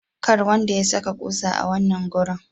Kar wanda ya saka kusa a wannan garun.